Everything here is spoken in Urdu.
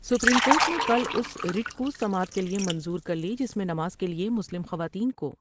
سپریم کورٹ نے کل اس رٹ کو سماعت کے لئے منظور کر لی جس میں نماز کے لئے مسلم خواتین کو